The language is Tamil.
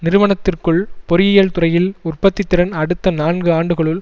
நிறுவனத்திற்குள் பொறியியல் துறையில் உற்பத்தி திறன் அடுத்த நான்கு ஆண்டுகளுள்